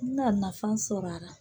N ka nafan sɔrɔ a ra.